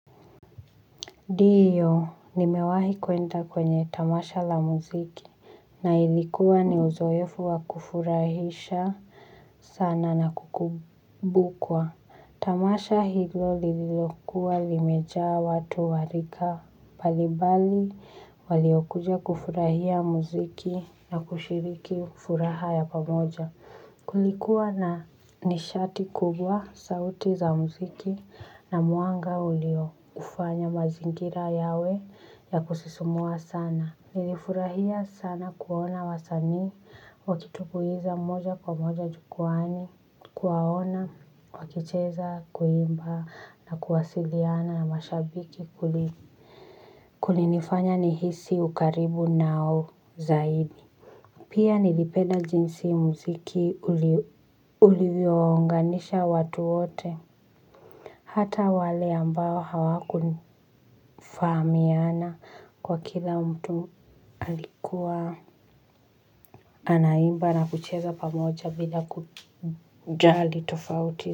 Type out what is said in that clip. Ndiyo nimewahi kwenda kwenye tamasha la muziki na ilikuwa ni uzoefu wa kufurahisha sana na kukumbukwa tamasha hilo lililokuwa limejaa watu wa rika mbalimbali waliokuja kufurahia muziki na kushiriki furaha ya pamoja kulikuwa na nishati kubwa, sauti za muziki na mwanga ulioufanya mazingira yawe ya kusisimua sana nilifurahia sana kuona wasanii wakitumbuiza moja kwa moja jukwaani kuwaona wakicheza kuimba na kuwasiliana na mashabiki kulinifanya nihisi ukaribu nao zaidi. Pia nilipenda jinsi muziki ulivyowaunganisha watu wote hata wale ambao hawakufahamiana kwa kila mtu alikuwa anaimba na kucheza pamoja bila kujali tofauti.